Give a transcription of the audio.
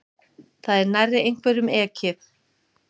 Það er nærri einhverjum ekið